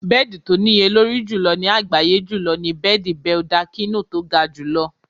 Bẹ́ẹ̀dì tó níye lórí jùlọ ní àgbáyé jùlọ ni bẹ́ẹ̀dì Beldachino tó ga jù lọ.